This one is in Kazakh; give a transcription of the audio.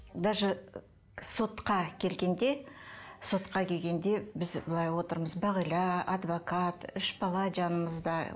даже сотқа келгенде сотқа келгенде біз былай отырмыз бағила адвокат үш бала жанымызда